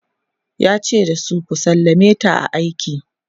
yace da su"ku sallameta a aiki!"